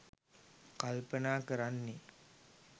කල්පනා කරන්නේ.